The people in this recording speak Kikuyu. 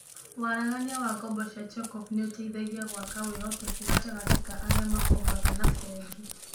Waragania wa ngombo cia check-off nĩ ũteithagia gwaka wĩhokeku gatagatĩ ka arĩa makombaga na bengi.